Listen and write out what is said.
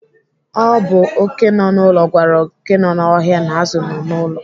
Ọ bụ oké nọ n'ụlọ gwara oké nọ n'ọhịa na azụ nọ n'ụlọ.